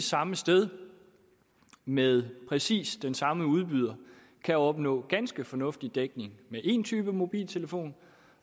samme sted med præcis den samme udbyder kan opnå ganske fornuftig dækning med en type mobiltelefon